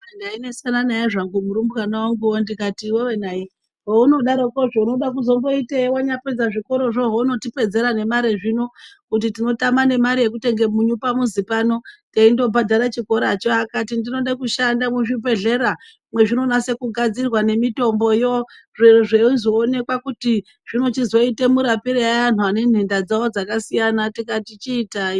Ndainesana naye murumbwana wanguwo ndikati iwewe nayi heunodarokozvo unodakuzombozoitei wanyapedza zvikorozvo hounotipedzira nemare zvino kuti tinotame nemare yekutenge munyu pamuzi pano teindobhadhare chikoracho akati ndinode kushanda muchibhehlera mwezvinonase kugadzirwa nemitomboyo zveyizoonekwa kuti zvinochizoite murapirei anhu ane nhenda dzawo dzakasiyana, tikati chiitai.